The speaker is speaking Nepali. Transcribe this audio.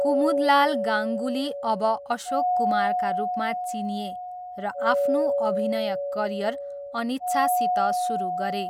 कुमुदलाल गाङ्गुली अब अशोक कुमारका रूपमा चिनिए र आफ्नो अभिनय करियर अनिच्छासित सुरु गरे।